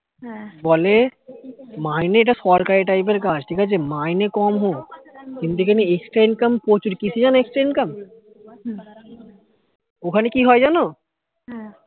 বলে মাইনে টা সরকারি type এর কাজ মাইনে কম হোক কিন্তু এখানে extra income প্রচুর কিসে জানো extra income ওখানে কি হয় জানো